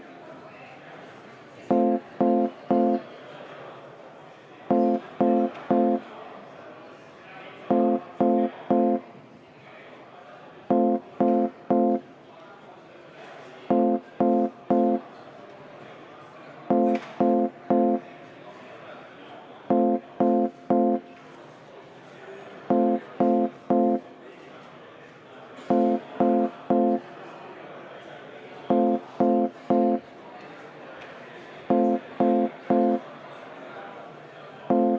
Hääletustulemused Umbusalduse avaldamise poolt hääletas 43 Riigikogu liiget, vastu oli 51 ja erapooletuks ei jäänud keegi.